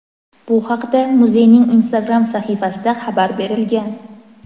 Bu haqda muzeyning Instagram sahifasida xabar berilgan.